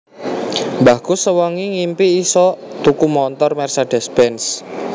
Mbahku sewengi ngimpi isok tuku montor Mercedes Benz